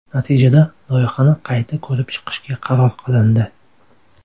Natijada loyihani qayta ko‘rib chiqishga qaror qilindi .